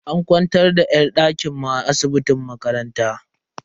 An kwantar da yar dakin mu a asibitin makaranta.